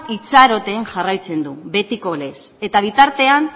itxaroten jarraitzen du betiko lez eta bitartean